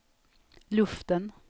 luften